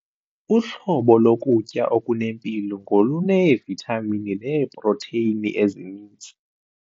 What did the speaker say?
Uhlobo lokutya okunempilo ngoluneevithamini neeprotheyini ezininzi.